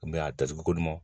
a datugu ko nɔn